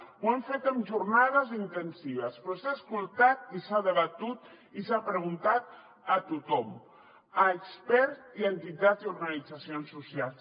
ho hem fet en jornades intensives però s’ha escoltat i s’ha debatut i s’ha preguntat a tothom a experts i entitats i organitzacions socials